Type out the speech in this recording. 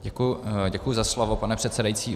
Děkuji za slovo, pane předsedající.